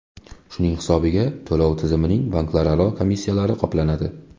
Shuning hisobiga to‘lov tizimining banklararo komissiyalari qoplanadi.